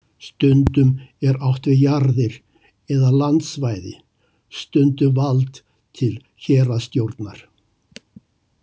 Stundum er átt við jarðir eða landsvæði, stundum vald til héraðsstjórnar.